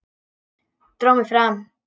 Dró mig fram.